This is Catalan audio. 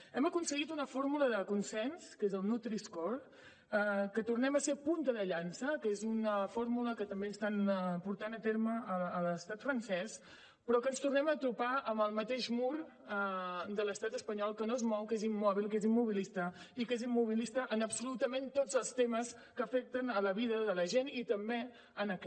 hem aconseguit una fórmula de consens que és el nutriscore que tornem a ser punta de llança que és una fórmula que també estan portant a terme a l’estat francès però ens tornem a topar amb el mateix mur de l’estat espanyol que no es mou que és immòbil que és immobilista i que és immobilista en absolutament tots els temes que afecten la vida de la gent i també en aquest